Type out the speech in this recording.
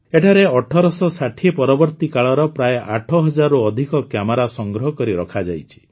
ଏଠାରେ ୧୮୬୦ ପରବର୍ତ୍ତୀ କାଳର ପ୍ରାୟ ଆଠହଜାରରୁ ଅଧିକ କ୍ୟାମେରା ସଂଗ୍ରହ କରି ରଖାଯାଇଛି